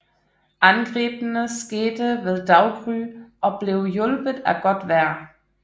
Angrebene skete ved daggry og blev hjulpet af godt vejr